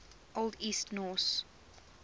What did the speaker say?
old east norse